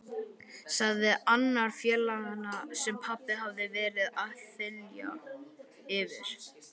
sagði annar félaganna sem pabbi hafði verið að þylja yfir.